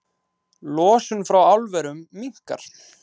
Losun frá álverum minnkar